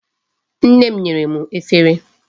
Nne m nyere m efere.